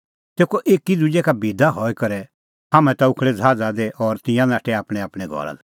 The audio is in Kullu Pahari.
तेखअ एकी दुजै का बिदा हई करै हाम्हैं ता उखल़ै ज़हाज़ा दी और तिंयां नाठै आपणैंआपणैं घरा लै